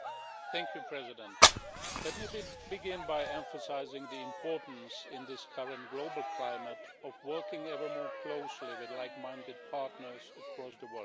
Madam President, let me begin by emphasising the importance in this current global climate of working ever more closely with like minded partners across the world.